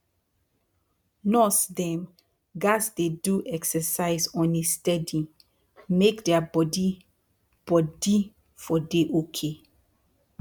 nurse dem gats dey do exercise on a steady make dia bodi bodi for dey ok